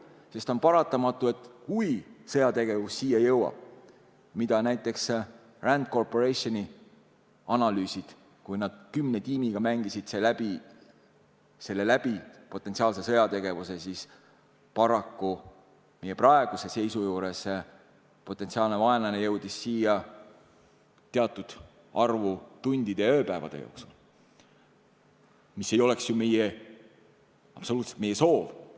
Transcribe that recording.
Sest on paratamatu, et kui sõjategevus siia jõuab , siis paraku meie praeguse seisu juures jõuab potentsiaalne vaenlane siia teatud arvu tundide ja ööpäevade jooksul, mis ei oleks ju absoluutselt meie soov.